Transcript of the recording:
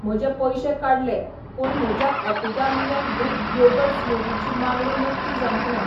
म्हजे पयशे काडले, पूण म्हज्या ऍपिगामिया ग्रीक योगर्ट स्मूदी ची मागणी नक्की जावंक ना